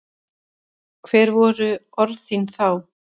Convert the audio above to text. Hver voru orð þín þá?